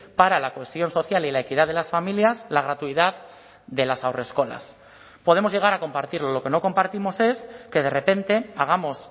para la cohesión social y la equidad de las familias la gratuidad de las haurreskolas podemos llegar a compartirlo lo que no compartimos es que de repente hagamos